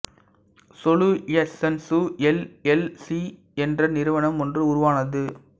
solutions L L C என்ற நிறுவனம் ஒன்று உருவானது